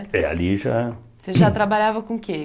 É, ali já... Você já trabalhava com o quê?